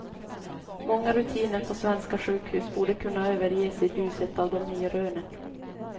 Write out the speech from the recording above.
Många rutiner på svenska sjukhus borde kunna överges i ljuset av de nya rönen.